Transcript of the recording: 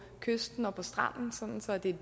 kysten og på stranden sådan